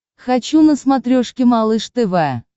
хочу на смотрешке малыш тв